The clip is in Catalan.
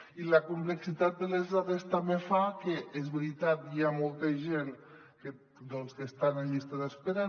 i la complexitat de les dades també fa que és veritat hi ha molta gent que estan en llista d’espera